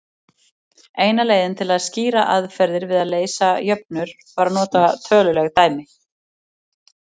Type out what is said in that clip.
Eina leiðin til að skýra aðferðir við að leysa jöfnur var að nota töluleg dæmi.